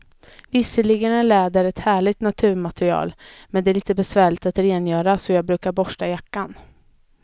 Visserligen är läder ett härligt naturmaterial, men det är lite besvärligt att rengöra, så jag brukar borsta jackan.